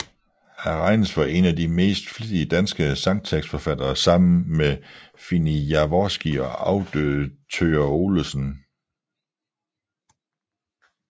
Han regnes for én af de mest flittige danske sangtekstforfattere sammen med Fini Jaworski og afdøde Thøger Olesen